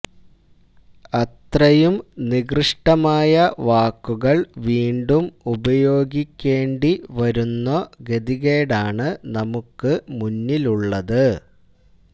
അത്രയും നികൃഷ്്ടമായ വാക്കുകള് വീണ്ടും ഉപയോഗിക്കേണ്ടി വരുന്നുഗതികേടാണ് നമുക്ക് മുന്നിലുള്ളത്